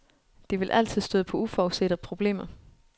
De vil altid støde på uforudsete problemer.